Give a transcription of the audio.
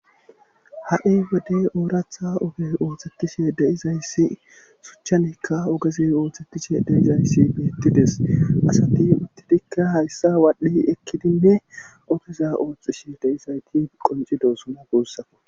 Ha'i wodey ooraththa oge ooththetishe deizayssi suchchanikka ogeze ooththetishe de'izayssi beettidees asati uttidikka hayssa waadhdhi ekkidinne ogeza ooththishshe de'izayti qoncidosona gussako